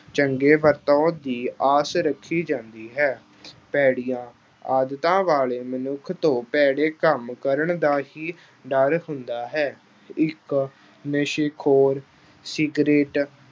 ਚੰਗੇ ਵਰਤਾਓ ਦੀ ਆਸ ਰੱਖੀ ਜਾਂਦੀ ਹੈ। ਭੈੜੀਆਂ ਆਦਤਾਂ ਵਾਲੇ ਮਨੁੱਖ ਤੋਂ ਭੈੜੇ ਕੰਮ ਕਰਨ ਦਾ ਹੀ ਡਰ ਹੁੰਦਾ ਹੈ। ਇੱਕ ਨਸ਼ੇ-ਖੋਰ, ਸਿਗਰੇਟ